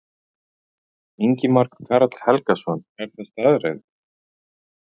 Ingimar Karl Helgason: Er það staðreynd?